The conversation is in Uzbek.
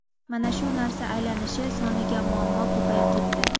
Mana shu narsa aylanishi soniga muammo ko‘payib ketdi.